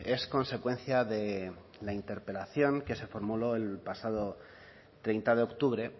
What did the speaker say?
es consecuencia de la interpelación que se formuló el pasado treinta de octubre